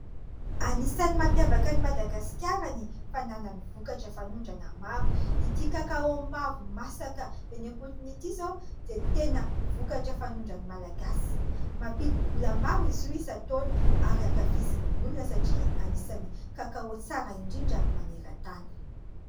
Anisan'ny mampiavaka an'i Madagasikara ny fananany vokatra fanondrana maro. Ity kakaô mavo masaka eny am-potony ity izao dia tena vokatra fanondran'ny Malagasy. Mampidi-bola maro izy io isan-taona ary ankafizin'ny olona satria anisan'ny kakaô tsara indrindra maneran-tany.